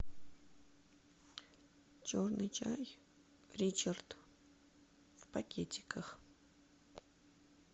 черный чай ричард в пакетиках